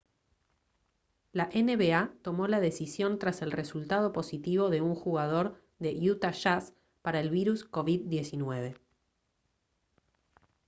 la nba tomó la decisión tras el resultado positivo de un jugador de utah jazz para el virus covid-19